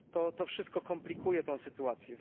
To wszystko komplikuje tę sytuację.